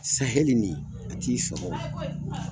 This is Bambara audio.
Sahɛli in a t'i sɔkɔ wo.